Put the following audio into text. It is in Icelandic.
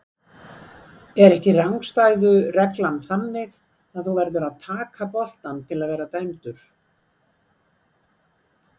Er ekki rangstæðu reglan þannig að þú verður að taka boltann til að vera dæmdur?